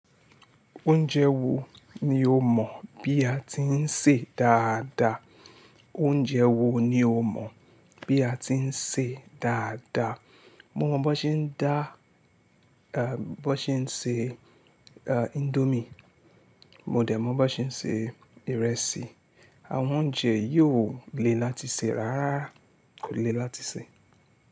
Oúnjẹ wo ni o mọ̀ bí a ti ń sè dáadáa? Oúnjẹ wo ni o mọ̀ bí a ti ń sè dáadáa? Mo mọ̀ bó ṣe ń dá, ẹ́ bó ṣe ń ṣe, ẹ́ índómì. Mo dẹ̀ mọ̀ bó ṣe ń ṣe ìrẹsì. Àwọn oúnjẹ yòó le láti sè rárá kò le láti sè.